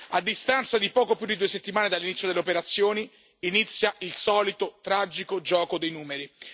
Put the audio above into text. A distanza di poco più di due settimane dall'inizio delle operazioni inizia il solito tragico gioco dei numeri.